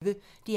DR P1